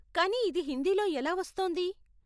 కానీ ఇది హిందీలో ఎలా వస్తోంది?